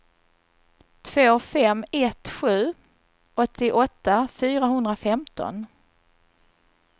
två fem ett sju åttioåtta fyrahundrafemton